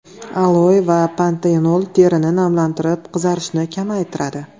Aloe va pantenol terini namlantirib qizarishni kamaytiradi.